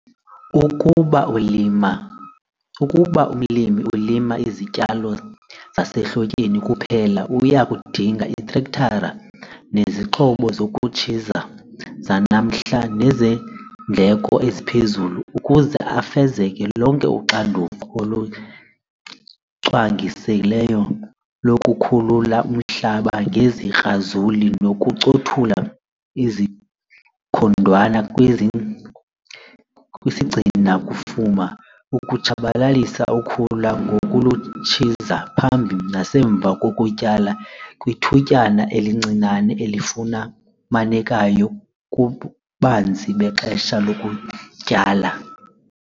Ukuba umlimi ulima izityalo zasehlotyeni kuphela uya kudinga iitrektara nezixhobo zokutshiza zanamhla nezeendleko eziphezulu ukuze afeze lonke uxanduva olucwangiselweyo lokukhulula umhlaba ngezikrazuli nokuncothula izikhondwana kwisigcina-kufuma, ukutshabalalisa ukhula ngokulutshiza phambi nasemva kokutyala kwithutyana elincinane elifumanekayo kububanzi bexesha lokutyala.